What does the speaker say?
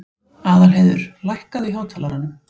Aðalheiður, lækkaðu í hátalaranum.